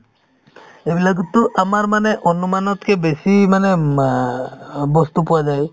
এইবিলাকতো আমাৰ মানে অনুমানতকে বেছি মানে আ বস্তু পোৱা যায়